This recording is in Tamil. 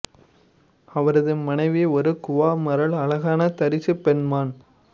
அவரது மனைவி ஒரு குவா மரல் அழகான தரிசு பெண்மான்